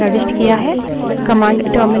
command terminal पर एक output देगी